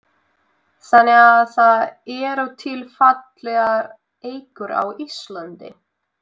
Þannig að það eru til fallegar eikur á Íslandi?